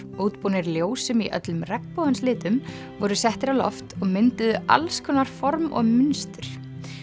útbúnir ljósum í öllum regnbogans litum voru settir á loft og mynduðu alls konar form og mynstur